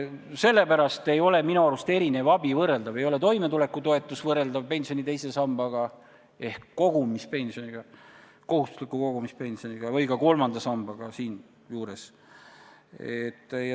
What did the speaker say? Sellepärast ei ole minu arvates erinev abi võrreldav – ei ole toimetulekutoetus võrreldav pensioni teise sambaga ehk kohustusliku kogumispensioniga ega ka kolmanda sambaga.